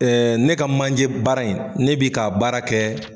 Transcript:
ne ka manjɛ baara in, ne bi ka baara kɛ.